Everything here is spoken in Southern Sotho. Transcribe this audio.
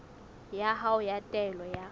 ya hao ya taelo ya